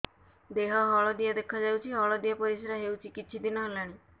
ଦେହ ହଳଦିଆ ଦେଖାଯାଉଛି ହଳଦିଆ ପରିଶ୍ରା ହେଉଛି କିଛିଦିନ ହେଲାଣି